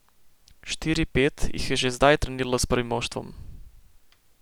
Štiri, pet jih je že zdaj treniralo s prvim moštvom.